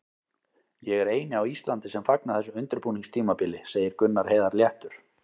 Ég er eini á Íslandi sem fagna þessu undirbúningstímabili, segir Gunnar Heiðar léttur.